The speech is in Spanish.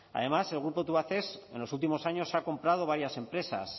además el grupo tubacex en los últimos años ha comprado varias empresas